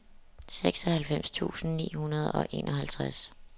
seksoghalvfems tusind ni hundrede og enoghalvtreds